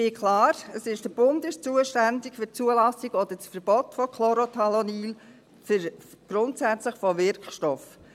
Klar: Der Bund ist zuständig für die Zulassung oder das Verbot von Chlorothalonil, grundsätzlich von Wirkstoffen.